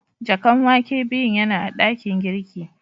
Jakan wake biyun yana a dakin girki.